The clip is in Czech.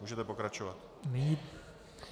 Můžete pokračovat.